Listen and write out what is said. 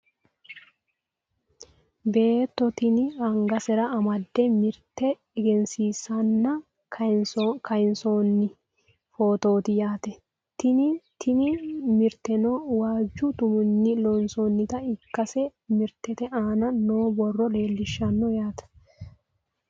beetto tini angasera amadde mirte egensiisanna kayiinsoonni fotooti yaate tini, tini mirteno waajju tuminni loonsoonnita ikkase mirtete aana noo borro leelishshanno yaate.